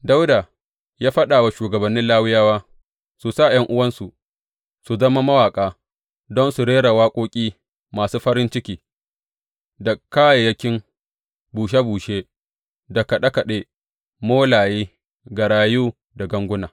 Dawuda ya faɗa wa shugabannin Lawiyawa su sa ’yan’uwansu su zama mawaƙa don su rera waƙoƙi masu farin ciki, da kayayyakin bushe bushe, da kaɗe kaɗe, molaye, garayu da ganguna.